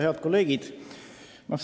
Head kolleegid!